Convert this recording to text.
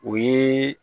O ye